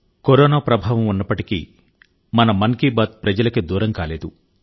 corona ప్రభావం ఉన్నప్పటికీ మన మన్ కీ బాత్ ప్రజలకు దూరం కాలేదు